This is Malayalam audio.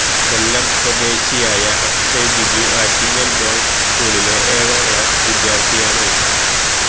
കൊല്ലം സ്വദേശിയായ അക്ഷയ് ബിജു ആറ്റിങ്ങല് ബോയ്സ് സ്കൂളിലെ ഏഴാം ക്ലാസ് വിദ്യാര്ഥിയാണ്